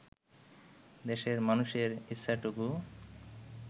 দেশের মানুষের ইচ্ছাটুকু